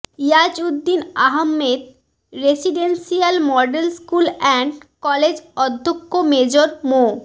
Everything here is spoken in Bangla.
Iajuddin Ahmed residential model school and college অধ্যক্ষ মেজর মো